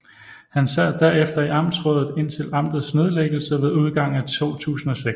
Han sad derefter i amtsrådet indtil amtets nedlæggelse ved udgangen af 2006